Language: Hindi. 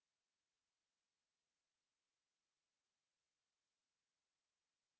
और अब जैसा कि आपने देखा यह पासवर्ड की जगह है